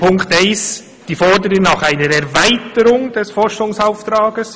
In Punkt eins haben wir die Forderung nach einer Erweiterung des Forschungsauftrags.